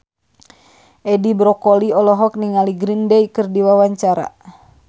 Edi Brokoli olohok ningali Green Day keur diwawancara